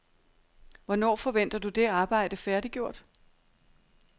Hvornår forventer du det arbejde færdiggjort?